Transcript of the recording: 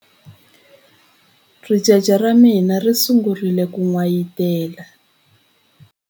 Ricece ra mina ri sungule ku n'wayitela.